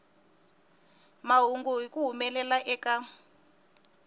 mahungu hi ku humelela eka